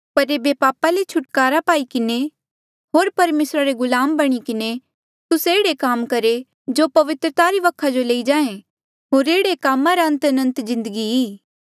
पर ऐबे पापा ले छुटकारा पाई किन्हें होर परमेसरा रे गुलाम बणी किन्हें तुस्से एह्ड़े काम करहे जो पवित्रता री वखा जो लेई जाहें होर एह्ड़े कामा रा अंत अनंत जिन्दगी ई